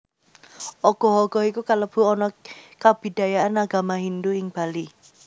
Ogoh ogoh iku kalebu ana kabidayan Agama Hindu Ing Bali